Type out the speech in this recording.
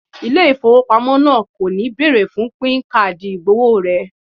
Ilé ìfowópamọ́ náà kò ní bẹ̀ẹ̀rè fún píìnì káàdì ìgbọ̀wọ́ rẹ